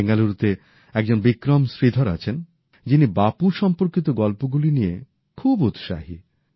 বেঙ্গালুরুতে একজন বিক্রম শ্রীধর আছেন যিনি বাপু সম্পর্কিত গল্পগুলি নিয়ে খুব উৎসাহী